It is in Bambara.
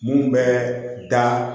Mun bɛ da